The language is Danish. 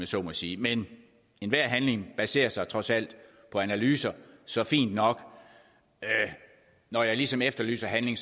så må sige men enhver handling baserer sig trods alt på analyser så fint nok når jeg ligesom efterlyser handling